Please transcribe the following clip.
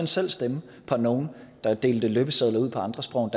selv stemme på nogen der delte løbesedler ud på andre sprog